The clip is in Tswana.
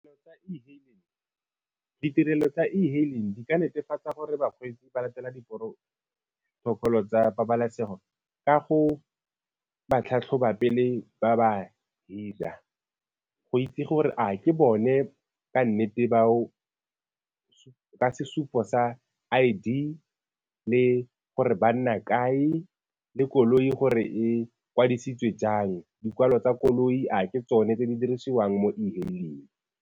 Ditirelo tsa e-hailing di ka netefatsa gore bakgweetsi ba latela di-protocol tsa pabalesego ka go ba tlhatlhoba pele ba ba hira go itse gore a ke bone ba nnete bao ka sesupo sa I_D le gore ba nna kae, le koloi gore e kwadisitswe jang. Dikwalo tsa koloi a ke tsone tse di dirisiwang mo e-hailing.